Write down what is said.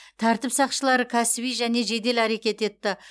тәртіп сақшылары кәсіби және жедел әрекет етті